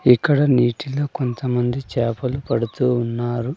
ఇక్కడ నీటిలో కొంతమంది చేపలు పడుతూ ఉన్నారు.